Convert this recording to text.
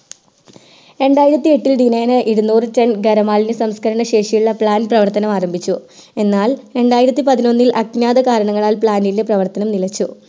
രണ്ടായിരത്തി എട്ടിൽ ദിനേനെ ഇരുനൂറ് ton ഗര മാലിന്യ സംസ്കരണ ശേഷിയുള്ള plant പ്രവർത്തനം ആരംഭിച്ചു എന്നാൽ രണ്ടായിരത്തി പതിനൊന്നിൽ അജ്ഞാതരാകരണങ്ങളാൽ plant ലിൻറെ പ്രവർത്തനം നിലച്ചു